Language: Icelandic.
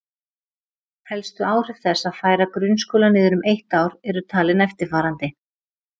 Helstu áhrif þess að færa grunnskóla niður um eitt ár eru talin eftirfarandi